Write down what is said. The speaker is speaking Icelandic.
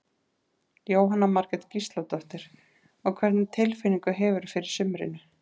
Jóhanna Margrét Gísladóttir: Og hvernig tilfinningu hefurðu fyrir sumrinu?